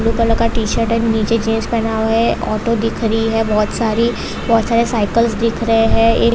Blue colour का T-shirt and नीचे jeans पहना हुआ है ऑटो दिख रही है बहुत सारी बहुत सारी साइकल्स दिख रहे है।